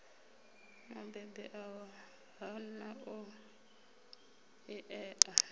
mubebi a hana u ṋea